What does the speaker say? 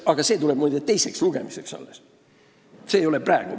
Aga see tuleb kõne alla alles teisel lugemisel, mitte praegu.